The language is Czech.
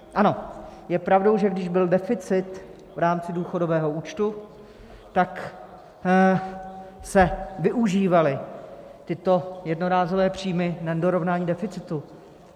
Ano, je pravdou, že když byl deficit v rámci důchodového účtu, tak se využívaly tyto jednorázové příjmy na dorovnání deficitu.